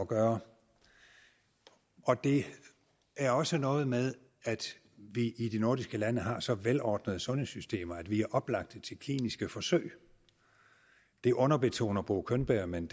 gøre og det er også noget med at vi i de nordiske lande har så velordnede sundhedssystemer at vi er oplagte til kliniske forsøg det underbetoner bo könberg men